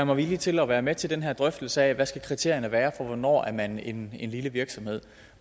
mig villig til at være med til den her drøftelse af hvad kriterierne skal være for hvornår man er en lille virksomhed